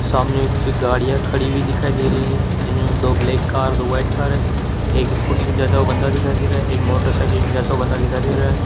सामने कुछ गाड़ियां खड़ी हुई दिखाई दे रही है जिन्होंने दो ब्लैक कार दो व्हाइट कार है एक स्कूटी भी जाता हुआ बंदा दिखाई दे रहा है एक मोटरसाइकिल पर जाता हुआ बंदा दिखाई दे रहा है।